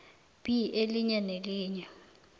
b elinye nelinye